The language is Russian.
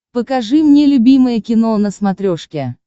покажи мне любимое кино на смотрешке